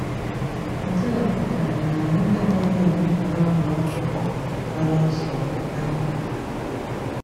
Nke a pụtara na anyị agaghị elebara ụmụ akwụkwọ nwere nsogbu anya.